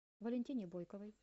валентине бойковой